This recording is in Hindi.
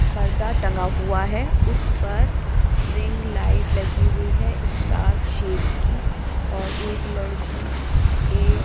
पर्दा टंगा हुआ है उस पर रिंग लाइट लगी हुई है स्टार शेप की और एक लड़की एक --